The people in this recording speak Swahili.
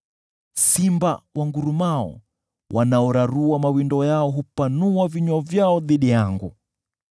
Simba wangurumao wanaorarua mawindo yao hupanua vinywa vyao dhidi yangu.